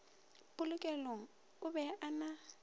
polokelong o be a na